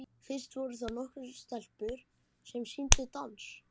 Fyrst voru það nokkrar stelpur sem sýndu dans.